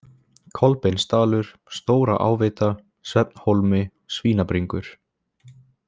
Kolbeinsdalur, Stóraáveita, Svefnhólmi, Svínabringur